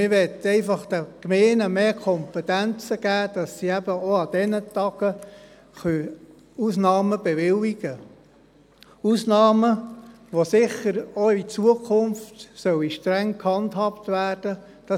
Man möchte den Gemeinden einfach mehr Kompetenzen geben, sodass sie eben auch für diese Tagen Ausnahmen bewilligen können, Ausnahmen, die sicher auch in Zukunft streng gehandhabt werden sollen.